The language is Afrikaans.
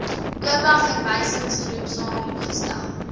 oba verwysingsgroep saamgestel